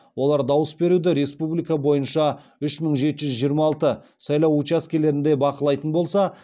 олар дауыс беруді республика бойынша үш мың жеті жүз жиырма алты сайлау учаскелерінде бақылайтын болса